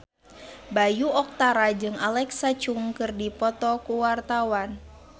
Bayu Octara jeung Alexa Chung keur dipoto ku wartawan